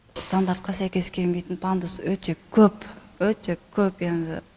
стандартқа сәйкес келмейтін пандус өте көп өте көп енді